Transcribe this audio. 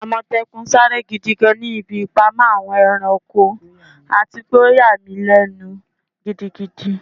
Amòtékùn sare gidi gan ni ibi ipamọ Awon eranko ati pe o yà mi lenu gidigidi